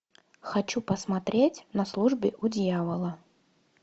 хочу посмотреть на службе у дьявола